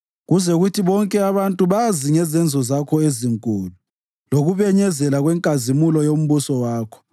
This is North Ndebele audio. kuze kuthi bonke abantu bazi ngezenzo zakho ezinkulu lokubenyezela kwenkazimulo yombuso wakho.